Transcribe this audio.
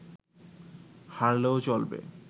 হারলেও চলবে